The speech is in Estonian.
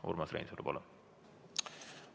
Urmas Reinsalu, palun!